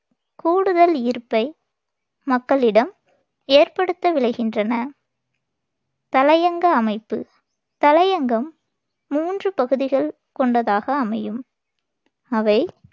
கூடுதல் ஈர்ப்பை மக்களிடம் ஏற்படுத்த விளைகின்றன தலையங்க அமைப்பு தலையங்கம் மூன்று பகுதிகள் கொண்டதாக அமையும். அவை